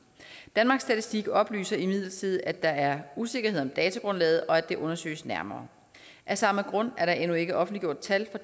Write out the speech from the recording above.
danmarks statistik oplyser imidlertid at der er usikkerhed om datagrundlaget og at det undersøges nærmere af samme grund er der endnu ikke offentliggjort tal for